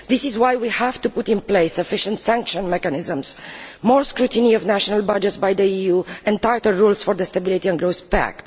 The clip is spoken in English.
This is why we have to put in place efficient sanction mechanisms, more scrutiny of national budgets by the EU and tighter rules for the Stability and Growth Pact.